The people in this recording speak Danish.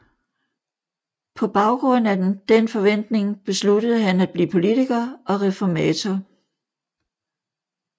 På baggrund af den forventning besluttede han at blive politiker og reformator